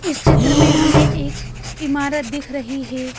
इस चित्र में हमें एक इमारत दिख रही है।